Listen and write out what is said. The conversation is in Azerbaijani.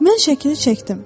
Mən şəkli çəkdim.